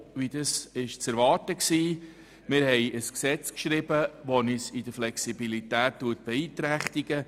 Wir haben ein Gesetz geschrieben, welches uns in der Flexibilität beeinträchtigt.